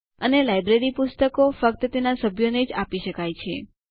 અને લાઈબ્રેરી પુસ્તકો ફક્ત તેના સભ્યો ને જ આપી શકાય છે